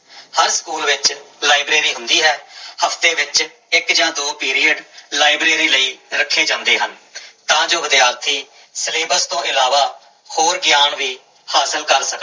ਹਰ school ਵਿੱਚ library ਹੁੰਦੀ ਹੈ ਹਫ਼ਤੇ ਵਿੱਚ ਇੱਕ ਜਾਂ ਦੋ ਪੀਰੀਅਡ ਲਾਇਬ੍ਰੇਰੀ ਲਈ ਰੱਖੇ ਜਾਂਦੇ ਹਨ ਤਾਂ ਜੋ ਵਿਦਿਆਰਥੀ ਸਿਲੇਬਸ ਤੋਂ ਇਲਾਵਾ ਹੋਰ ਗਿਆਨ ਵੀ ਹਾਸਲ ਕਰ ਸਕਣ।